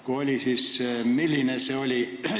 Kui on, siis milline see on?